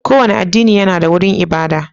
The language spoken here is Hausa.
Kowane addini yana da wurin ibada